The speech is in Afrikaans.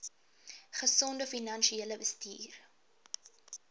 gesonde finansiële bestuur